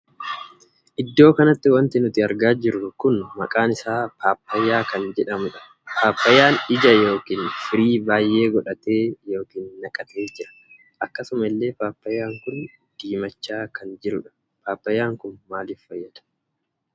Iddoo kanatti wanti nuti argaa jirru kun maqaan isaa paappayyyaa kan jedhamudha. paappayyaan ija ykn firii baay'ee godhatee ykn naqatee jira. akkasuma illee paappayyaan kun diimachaa kan jirudha. paappayyaan kun maaliif nu fayyada?